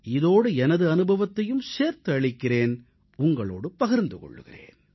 இதோடு எனது அனுபவத்தையும் சேர்த்து அளிக்கிறேன் உங்களோடு பகிர்ந்து கொள்கிறேன்